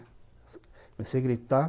Comecei gritar.